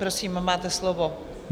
Prosím, máte slovo.